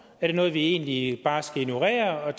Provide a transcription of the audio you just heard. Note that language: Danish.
er det noget vi egentlig bare skal ignorere og